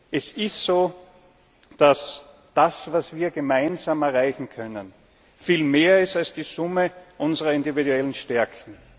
Weg. Es ist so, dass das, was wir gemeinsam erreichen können, viel mehr ist als die Summe unserer individuellen Stärken.